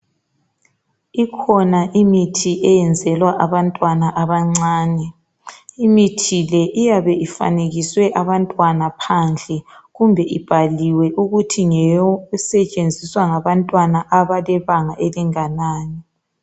Ikhona imithi eyenzelwa abantwana bancane imithi le iyabe ifanekiswe abantwana phandle kumbe ibhaliwe ukuthi ngeyokusetshenziswa ngabantwana abalebanga elinganani.